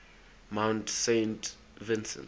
mount saint vincent